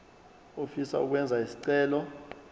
ofisa ukwenza isicelo